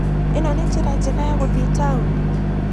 Ĩno nĩ njĩra njega ya gũthie taũni?